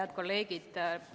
Head kolleegid!